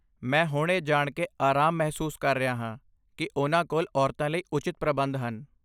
ਮੈਂ ਹੁਣ ਇਹ ਜਾਣ ਕੇ ਅਰਾਮ ਮਹਿਸੂਸ ਕਰ ਰਿਹਾ ਹਾਂ ਕਿ ਉਨ੍ਹਾਂ ਕੋਲ ਔਰਤਾਂ ਲਈ ਉਚਿਤ ਪ੍ਰਬੰਧ ਹਨ।